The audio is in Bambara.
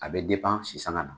A bɛ a sisanga na.